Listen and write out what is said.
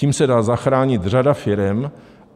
Tím se dá zachránit řada firem.